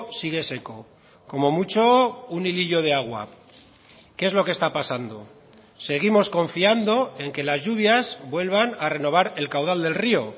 sigue seco como mucho un hilillo de agua qué es lo que está pasando seguimos confiando en que las lluvias vuelvan a renovar el caudal del río